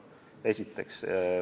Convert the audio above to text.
Seda esiteks.